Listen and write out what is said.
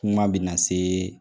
Kuma bɛ na se